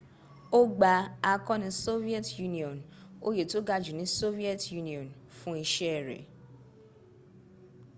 o gba akọni soviet union oyè tó ga jú ní soviet union fún iṣẹ́ rẹ̀